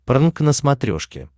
прнк на смотрешке